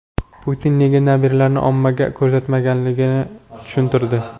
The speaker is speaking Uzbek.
Putin nega nabiralarini ommaga ko‘rsatmasligini tushuntirdi.